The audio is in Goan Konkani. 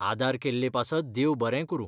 आदार केल्ले पासत देव बरें करूं.